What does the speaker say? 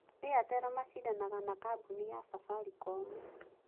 Airtel macindanaga na kambuni ya safaricom.